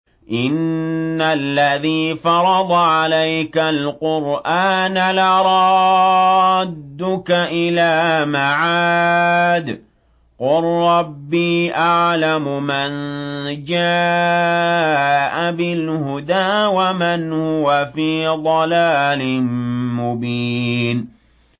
إِنَّ الَّذِي فَرَضَ عَلَيْكَ الْقُرْآنَ لَرَادُّكَ إِلَىٰ مَعَادٍ ۚ قُل رَّبِّي أَعْلَمُ مَن جَاءَ بِالْهُدَىٰ وَمَنْ هُوَ فِي ضَلَالٍ مُّبِينٍ